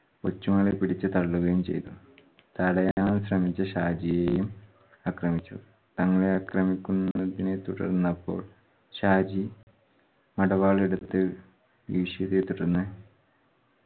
കൊച്ചുമകളെ പിടിച്ചു തള്ളുകയും ചെയ്തു. തടയാൻ ശ്രമിച്ച ഷാജിയേയും അക്രമിച്ചു. തങ്ങളെ അക്രമിക്കുന്നതിനെ തുടർന്നപ്പോൾ ഷാജി മടവാളെടുത്ത്‌ വീശിയതിനെ തുടർന്ന്